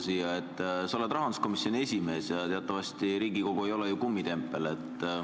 Sa oled rahanduskomisjoni esimees ja teatavasti Riigikogu ei ole ju kummitempel.